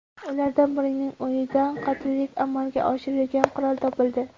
Ulardan birining uyidan qotillik amalga oshirilgan qurol topildi.